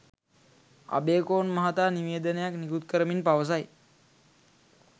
අබේකෝන් මහතා නිවේදනයක් නිකුත් කරමින් පවසයි.